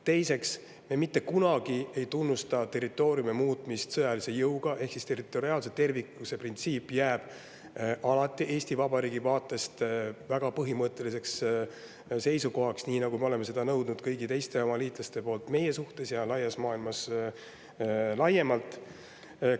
Teiseks, me mitte kunagi ei tunnusta territooriumi muutmist sõjalise jõuga, ehk territoriaalse terviklikkuse printsiip jääb alati Eesti Vabariigi vaatest väga põhimõtteliseks seisukohaks, nii nagu me oleme seda nõudnud kõigilt oma liitlastelt meie suhtes ja maailmas laiemalt.